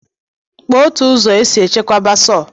Kpọ ofụ ụzọ esi echekwabe sọw?